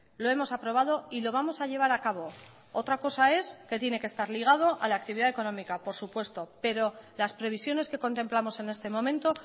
lo hemos aprobado y lo vamos a llevar a cabo otra cosa es que tiene que estar ligado a la actividad económica por supuesto pero las previsiones que contemplamos en este momento